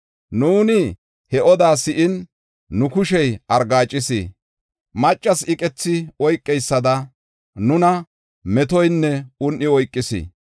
Nuuni he odaa si7in, nu kushey argaacis; maccasi iqethi oykeysada nuna metoynne un7i oykis.